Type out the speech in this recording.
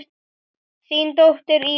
Þín dóttir, Íris.